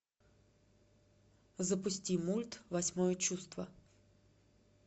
запусти мульт восьмое чувство